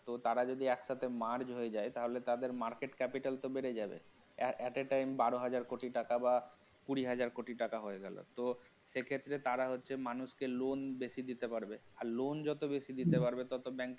দোতারা যদি একসাথে merge হয়ে যায় তাহলে তাদের market capital তো বেড়ে যাবে at a time বারো হাজার কোটি টাকা বা কুড়ি হাজার কোটি টাকা হয়ে গেল তো সে ক্ষেত্রে তারা হচ্ছে মানুষকে loan বেশি দিতে পারবে আর loan যত বেশি দিতে পারবে ততো bank